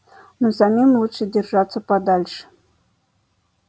но самим лучше держаться подальше